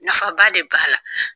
Nafa ba de b'a la.